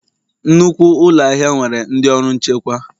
Nnukwu ụlọ ahịa nwere ndị ọrụ nchekwa